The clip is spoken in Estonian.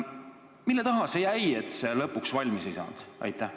Mille taha see jäi, et see lõpuks valmis ei saanud?